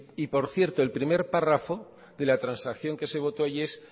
y por cierto el primer párrafo de la transacción que se votó allí es